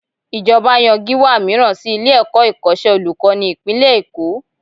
Ìjọba yan Gíwá mìíràn sí ilé-ẹ̀kọ́ ìkọ́ṣẹ́ olùkọ́ni ìpínlẹ̀ Èkó